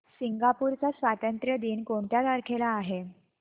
Singapore चा स्वातंत्र्य दिन कोणत्या तारखेला आहे